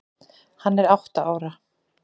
Hann er átta ára.